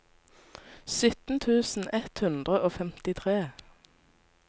sytten tusen ett hundre og femtitre